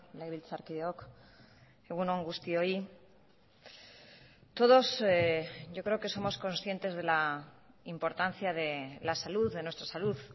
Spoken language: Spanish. legebiltzarkideok egun on guztioi todos yo creo que somos conscientes de la importancia de la salud de nuestra salud